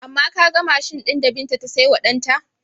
Amma ka ga mashin ɗin da Binta ta saiwa ɗanta?